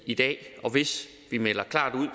i dag og hvis vi melder klart ud